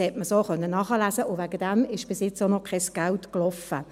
Dies konnte man so nachlesen, und deshalb ist bis jetzt auch noch kein Geld geflossen.